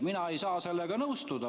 Mina ei saa sellega nõustuda.